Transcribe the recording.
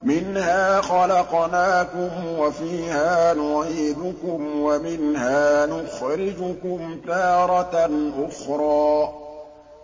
۞ مِنْهَا خَلَقْنَاكُمْ وَفِيهَا نُعِيدُكُمْ وَمِنْهَا نُخْرِجُكُمْ تَارَةً أُخْرَىٰ